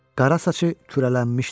Qara saçı kürənlənmişdi.